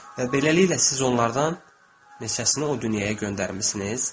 Və beləliklə siz onlardan neçəsini o dünyaya göndərmisiniz?